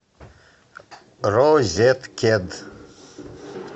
розеткед